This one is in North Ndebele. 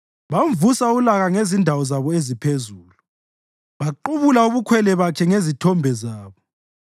Bamvusa ulaka ngezindawo zabo eziphezulu; baqubula ubukhwele bakhe ngezithombe zabo.